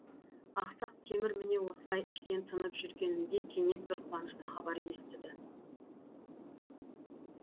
ақсақ темір міне осылай іштен тынып жүргенінде кенет бір қуанышты хабар естіді